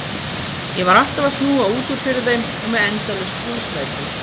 Ég var alltaf að snúa út úr fyrir þeim og með endalaus trúðslæti.